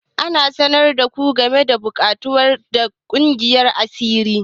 An sanar da ku game da buƙatun ƙaddamar da kungiyar asiri?